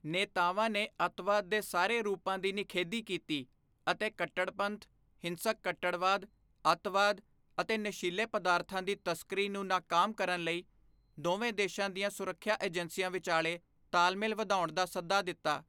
ਨੇਤਾਵਾਂ ਨੇ ਅੱਤਵਾਦ ਦੇ ਸਾਰੇ ਰੂਪਾਂ ਦੀ ਨਿਖੇਧੀ ਕੀਤੀ ਅਤੇ ਕੱਟੜਪੰਥ, ਹਿੰਸਕ ਕੱਟੜਵਾਦ, ਅੱਤਵਾਦ ਅਤੇ ਨਸ਼ੀਲੇ ਪਦਾਰਥਾਂ ਦੀ ਤਸਕਰੀ ਨੂੰ ਨਾਕਾਮ ਕਰਨ ਲਈ ਦੋਵੇਂ ਦੇਸ਼ਾਂ ਦੀਆਂ ਸੁਰੱਖਿਆ ਏਜੰਸੀਆਂ ਵਿਚਾਲੇ ਤਾਲਮੇਲ ਵਧਾਉਣ ਦਾ ਸੱਦਾ ਦਿੱਤਾ।